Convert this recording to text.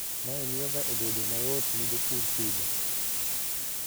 mae miyoga obedo mayootni jopur pidho